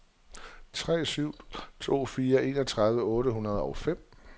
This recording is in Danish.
tre syv to fire enogtredive otte hundrede og fem